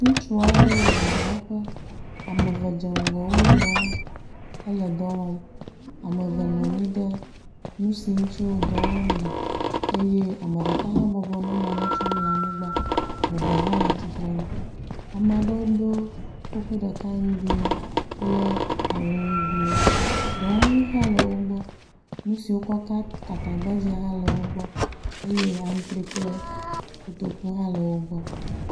Ŋutsu aɖewo le dɔwɔƒe ame eve dze ŋgɔ wo nɔewo hele dɔ wɔm. ame eve nɔ anyi ɖe nu si ŋutsi wo dɔ wɔm le eye ame ɖeka hã bɔbɔ nɔ nane tsɔm le anyigba. Eve hã le atsitre nu. Ame aɖewo do kuku ɖeka ŋugbiwo kple awu ŋugbiwo. Dɔwɔnu hã le wo gbɔ. Nu siwo wokɔ ka gatagbadze hã le wo gbɔ eye atrɔe kple kotoku hã le wo gbɔ.